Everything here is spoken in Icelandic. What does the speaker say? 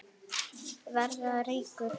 Verða ríkur.